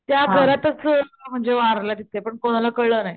त्या घरातच म्हणजे वारल्या तिथं पण कोणाला कळल नाही.